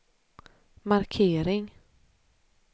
markering